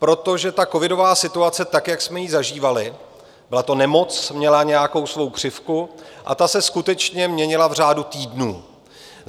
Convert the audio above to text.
Protože ta covidová situace, tak jak jsme ji zažívali, byla to nemoc, měla nějakou svou křivku a ta se skutečně měnila v řádu týdnů.